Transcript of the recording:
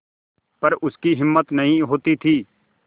पर उसकी हिम्मत नहीं होती थी